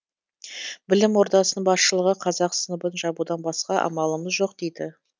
білім ордасының басшылығы қазақ сыныбын жабудан басқа амалымыз жоқ дейді